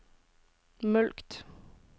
mulkt